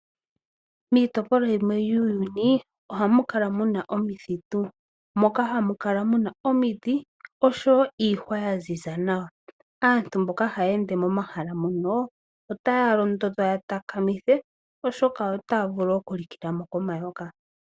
Miitopolwa yimwe yuuyuni ohamu kala mu na omithitu. Moka hamu kala mu na omiti osho wo iihwa ya ziza nawa. Aantu mboka haya ende momahala mono otaya londodhwa ya takamithe oshoka otaya vulu okulikila mo komayoka.